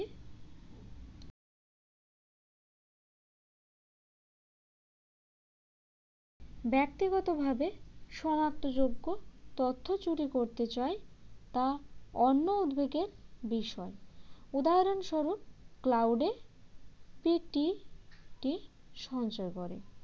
ব্যক্তিগতভাবে সনাক্তযোগ্য তথ্য চুরি করতে চায় তা অন্য উদ্বেগের বিষয় উদাহরণস্বরূপ cloud . সঞ্চয় করে